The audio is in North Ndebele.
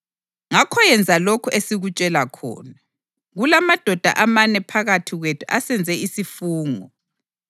ngakho yenza lokhu esikutshela khona. Kulamadoda amane phakathi kwethu asenze isifungo.